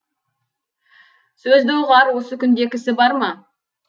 сөзді ұғар осы күнде кісі бар ма